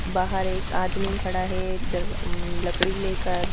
बाहर एक आदमी खड़ा है दर अ उम्म्म्म लकड़ी लेकर--